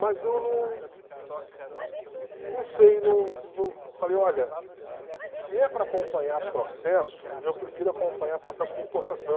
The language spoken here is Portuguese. Mas eu num num sei, num num, falei, olha, se é para acompanhar processo, eu prefiro acompanhar processo de importação.